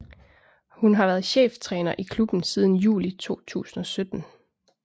Hun har været cheftræner i klubben siden juli 2017